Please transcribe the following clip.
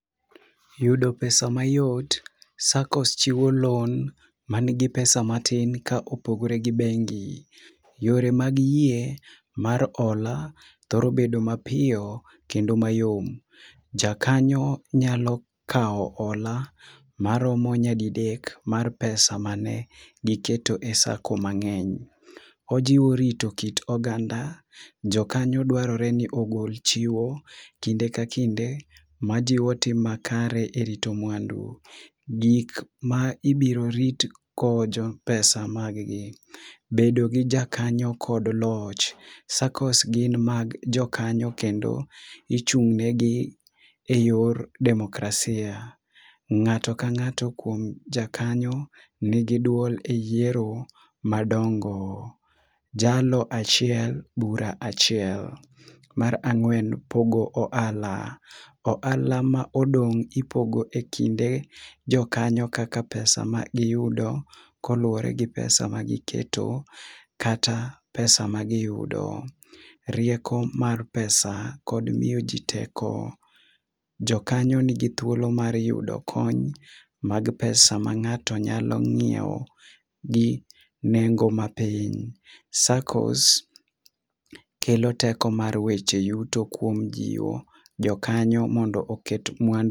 Yudo pesa mayot, saccos chiwo loan manigi pesa matin kopogore gi bengi. Yore mag yie mar hola thoro bedo mapiyo kendo mayom, jakanyo nyalo kaw hola maromo nyadidek maromo pesa mane giketo e sacco mangeny. Ojio rito kit oganda, jokanyo dwarore ni ogol chiwo kinde ka kinde ma jiwo tim makare e rit mwandu. Hik ma biro ritogo pesa mag gi, bedo gi jakanyo kod loch, saccos gin mag jokanyo kendo ichung negi e yor demokrasia. Ngato ka ngato kuom jakanyo nigi duol e yiero madongo, jalno achiel bura achiel. Mar angwen pogo ohala, ohala ma odong ipogo e kinde jokanyo kaka pesa ma giyudo koluore gi pesa[sc] magiketo kata pesa magiyudo. Rieko mar pesa kod miyo jii teko. Jokanyo nigi thuolo mar yudo kony mag pesa ma ngato nyalo ngiew gi nengo mapiny. saccos kelo teko mar weche yuto kuom jiwo jokanyo mondo oket mwandu